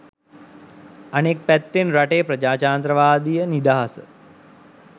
අනෙක් පැත්තෙන් රටේ ප්‍රජාතන්ත්‍රවාදය නිදහස